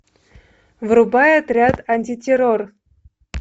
врубай отряд антитеррор